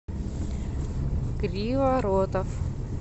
криворотов